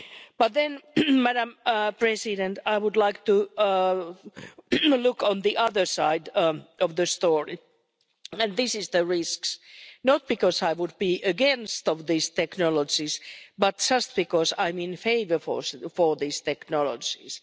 But then Madam President I would like to look on the other side of the story, and this is the risks not because I would be against these technologies, but just because I'm in favour of these technologies.